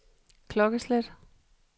klokkeslæt